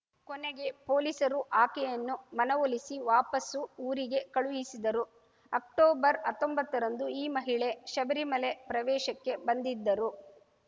ಕೊನೆಗೆ ಪೊಲೀಸರು ಆಕೆಯನ್ನು ಮನವೊಲಿಸಿ ವಾಪಸು ಊರಿಗೆ ಕಳುಹಿಸಿದರು ಅಕ್ಟೋಬರ್‌ ಹತ್ತೊಂಬತ್ತರಂದೂ ಈ ಮಹಿಳೆ ಶಬರಿಮಲೆ ಪ್ರವೇಶಕ್ಕೆ ಬಂದಿದ್ದರು